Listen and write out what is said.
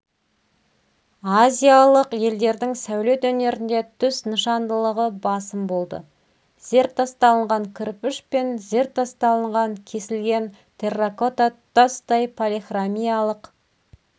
азиялық елдердің сәулет өнерінде түс нышандылығы басым болды зертасталынған кірпіш пен зертасталынған кесілген терракота тұтастай полихромиялық